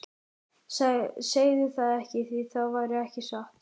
Segðu það ekki, því það væri ekki satt.